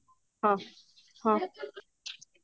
ହଁ ହଁ